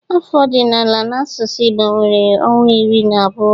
Afọ ọdịnala n'asụsụ Igbo nwere ọnwa iri na abụọ.